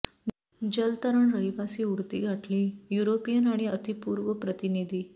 जलतरण रहिवासी उडती गाठली युरोपियन आणि अतिपूर्व प्रतिनिधी